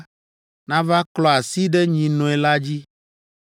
nava klɔ asi ɖe nyinɔe la dzi,